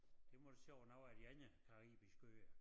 Der må du så over nogle af de andre caribiske øer